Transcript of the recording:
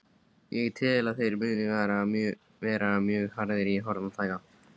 Ég tel að þeir muni vera mjög harðir í horn að taka.